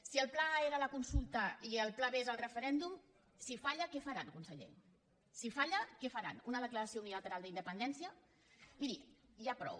si el pla a era la consulta i el pla b és el referèndum si falla què faran conseller si falla què faran una declaració unilateral d’independència miri ja prou